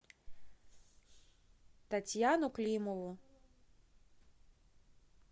татьяну климову